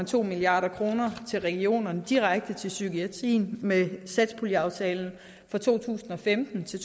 to milliard kroner til regionerne direkte til psykiatrien med satspuljeaftalen for to tusind og femten til